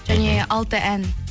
және алты ән